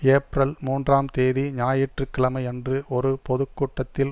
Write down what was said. April மூன்றாம் தேதி ஞாயிற்று கிழமையன்று ஒரு பொது கூட்டத்தில்